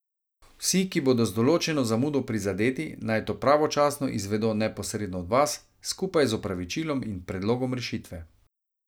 Vsi, ki bodo z določeno zamudo prizadeti, naj to pravočasno izvedo neposredno od vas, skupaj z opravičilom in predlogom rešitve.